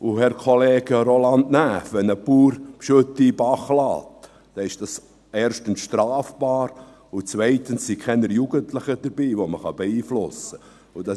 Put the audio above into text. Und, Herr Kollege Roland Näf: Wenn ein Bauer Gülle in den Bach lässt, ist dies erstens strafbar, und zweitens sind keine Jugendlichen dabei, die man beeinflussen kann.